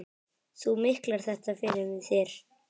Þú miklar þetta fyrir þér.